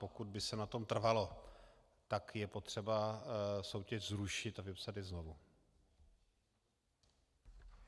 Pokud by se na tom trvalo, tak je potřeba soutěž zrušit a vypsat ji znovu.